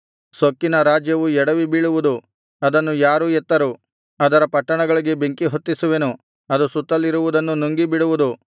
ಸೊಕ್ಕಿನ ರಾಜ್ಯವು ಎಡವಿ ಬೀಳುವುದು ಅದನ್ನು ಯಾರೂ ಎತ್ತರು ಅದರ ಪಟ್ಟಣಗಳಿಗೆ ಬೆಂಕಿಹೊತ್ತಿಸುವೆನು ಅದು ಸುತ್ತಲಿರುವುದನ್ನು ನುಂಗಿಬಿಡುವುದು